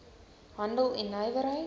handel en nywerheid